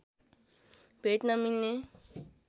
भेट्न मिल्ने